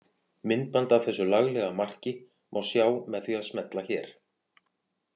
Myndband af þessu laglega marki má sjá með því að smella hér.